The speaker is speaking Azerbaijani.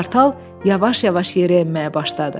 Qartal yavaş-yavaş yerə enməyə başladı.